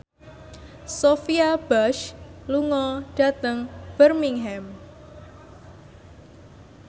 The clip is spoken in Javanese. Sophia Bush lunga dhateng Birmingham